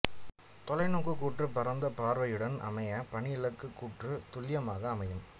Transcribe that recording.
தொலைநோக்குக் கூற்று பரந்த பார்வையுடன் அமைய பணி இலக்குக் கூற்று துல்லியமாக அமையும்